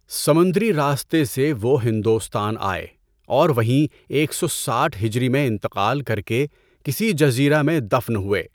سمندری راستے سے وہ ہندوستان آئے اور وہیں ایک سو ساٹھ ہجری میں انتقال کر کے کسی جزیرہ میں دفن ہوئے۔